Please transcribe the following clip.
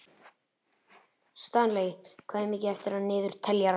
Stanley, hvað er mikið eftir af niðurteljaranum?